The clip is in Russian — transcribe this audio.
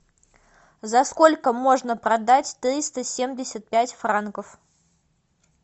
за сколько можно продать триста семьдесят пять франков